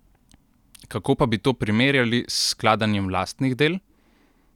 Kako pa bi to primerjali s skladanjem lastnih del?